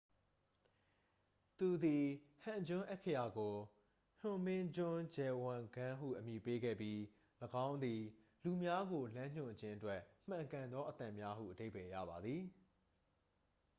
"သူသည် ဟန်ဂျွန်း အက္ခရာကို ဟွန်မင်ဂျွန်းဂျဲဝန်ဂမ်း ဟု အမည်ပေးခဲ့ပြီး၊ ၎င်းသည် "လူများကိုလမ်းညွှန်ခြင်းအတွက်မှန်ကန်သောအသံများ" ဟု အဓိပ္ပါယ်ရပါသည်။